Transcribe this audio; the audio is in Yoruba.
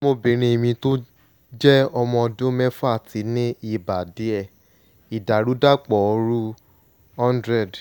ọmọbìnrin mi tó jẹ́ ọmọ ọdún mẹ́fà ti ní ibà díẹ̀ (ìdàrúdàpọ̀ ooru - 100